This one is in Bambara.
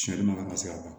Siyan ka se ka ban